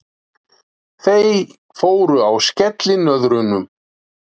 Þau fóru á skellinöðrunum.